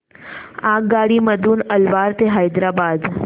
आगगाडी मधून अलवार ते हैदराबाद